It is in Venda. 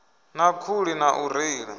na khuli na u reila